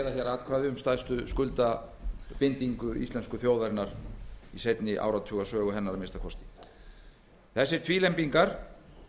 atkvæði um stærstu skuldbindingu íslensku þjóðarinnar í seinni áratugasögu hennar að minnsta kosti þessir tvílembingar